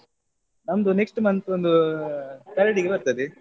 ನಮ್ದು next month ಒಂದು third ಗೆ ಬರ್ತದೆ